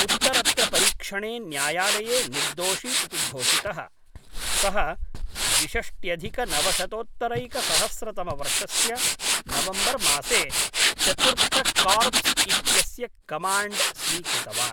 उत्तरत्र परीक्षणे न्यायलये निर्दोषी इति घोषितः, सः द्विषष्ट्यधिकनवशतोत्तरैकसहस्रतमवर्षस्य नवम्बर्मासे चतुर्थकार्प्स् इत्यस्य कमाण्ड् स्वीकृतवान्।